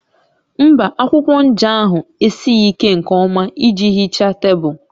Mba, akwụkwọ nja ahụ esighị ike nke ọma iji hichaa tebụl